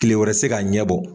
Kile wɛrɛ tɛ se ka ɲɛbɔ.